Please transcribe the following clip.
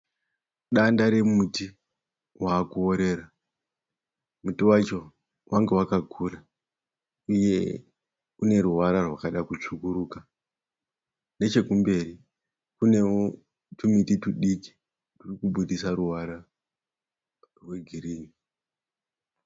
Danda remuti wakuorera. Muti wacho wange wakakura uye une ruvara rwakada kutsvukuruka. Nechekumberi kune tumiti tudiki turi kubudisa ruvara rwegirini.